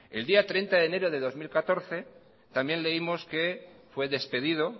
el día treinta de enero de dos mil catorce también leímos que fue despedido